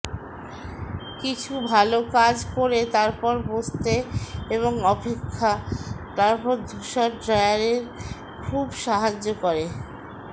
কিছু ভাল কাজ করে তারপর বসতে এবং অপেক্ষা তারপর ধূসর ড্রায়ার খুব সাহায্য করে